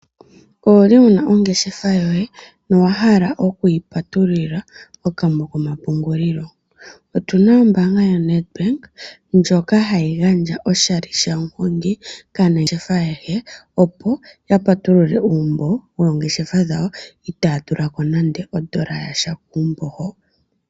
Owu li wu na ongeshefa yoye nowa hala okuyi patululila okambo komapungulilo? Otu na ombaanga yaNedbank ndjoka hayi gandja oshali shaMuhongi kaanangeshefa ayehe, opo ya patulule uumbo woongeshefa wawo itaya tula ko nande odola yasha kuumbo hoka.